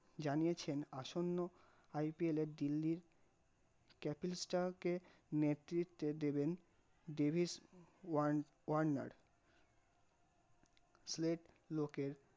জানিয়েছেন আসন্ন IPL এর দিল্লির capster কে নেতৃত্বে দেবেন দেবিশ ওয়ার্নার সিলেট লোকের